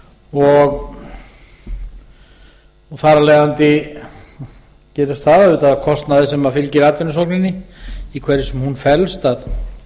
og þar af leiðandi gerist það auðvitað að kostnaður sem fylgir atvinnusókninni í hverju sem hún felst að